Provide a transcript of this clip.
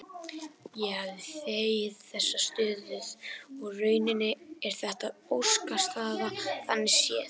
Ég hefði þegið þessa stöðu og í rauninni er þetta óskastaða þannig séð.